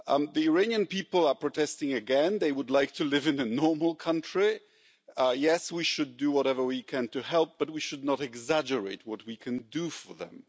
The Iranian people are protesting again, they would like to live in a normal country. Yes, we should do whatever we can to help, but we should not exaggerate what we can do for them.